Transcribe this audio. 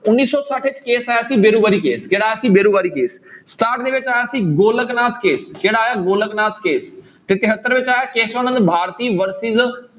ਉੱਨੀ ਸੌ ਛੱਠ ਵਿੱਚ case ਆਇਆ ਸੀ case ਕਿਹੜਾ ਆਇਆ ਸੀ case ਸਤਾਹਠ ਦੇ ਵਿੱਚ ਆਇਆ ਸੀ ਗੋਲਕ ਨਾਥ case ਕਿਹੜਾ ਆਇਆ ਗੋਲਕ ਨਾਥ case ਤੇ ਤਹੇਤਰ ਵਿੱਚ ਆਇਆ ਕੇਸਵ ਨੰਦ ਭਾਰਤੀ versus